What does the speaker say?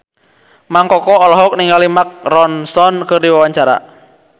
Mang Koko olohok ningali Mark Ronson keur diwawancara